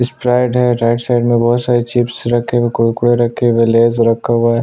Sprite है right side में बहोत सारे चिप्स रखे हुए कुरकुरे रखे हुए है लेस रखा हुआ है।